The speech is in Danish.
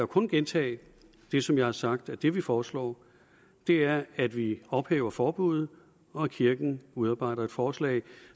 kun gentage det som jeg har sagt nemlig at det vi foreslår er at vi ophæver forbuddet og at kirken udarbejder et forslag